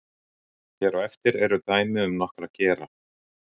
Hér á eftir eru dæmi um nokkra gera.